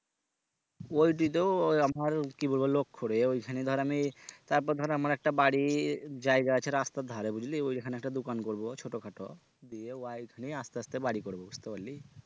ওইটি তো ওই আমারও কি বলবো লক্ষ্য রে ওইখানে ধর আমি তারপর ধর আমার একটা বাড়ির জায়গা আছে রাস্তার ধারে বুঝলি ওই ওখানে একটা দোকান করবো ছোট খাটো দিয়ে wife নিয়ে আস্তে আস্তে বাড়ি করবো বুঝতে পারলি?